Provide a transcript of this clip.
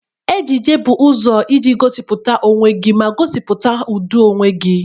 Ejiji bụ ụzọ iji gosipụta onwe gị ma gosipụta ụdị onwe gị.